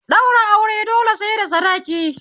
Ɗaura aure dole sai da sadiki